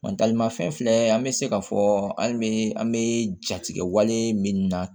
ma fɛn filɛ an bɛ se ka fɔ hali bi an bɛ jatigɛ wale min na